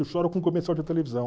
Eu choro com comercial de televisão.